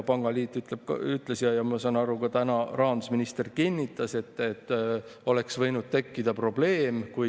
Pangaliit ütles, ja ma saan aru, ka täna rahandusminister kinnitas, et oleks võinud tekkida probleem.